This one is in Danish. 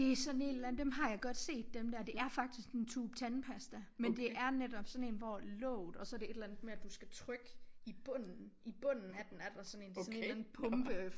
Det er sådan et eller andet dem har jeg godt set dem der det ér faktisk sådan en tube tandpasta men det ér netop sådan en hvor låget og så er det et eller andet med du skal trykke i bunden i bunden af den er der sådan en det er sådan en eller anden pumpe